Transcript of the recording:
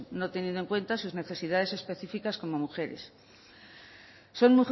no teniendo en cuenta sus necesidades específicas como mujeres son